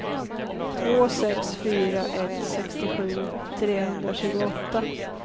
två sex fyra ett sextiosju trehundratjugoåtta